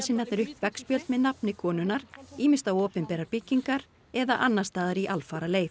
aðgerðasinnarnir upp veggspjald með nafni konunnar ýmist á opinberar byggingar eða annars staðar í alfaraleið